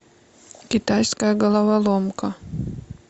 китайская головоломка